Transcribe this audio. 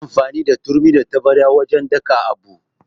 Ana amfani da turmi da taɓarya wajan daka abu